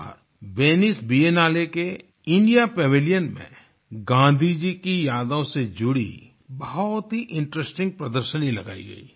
इस बार Venice Biennale के इंडिया पैविलियन में गाँधी जी की यादों से जुड़ी बहुत ही इंटरेस्टिंग प्रदर्शनी लगाई गई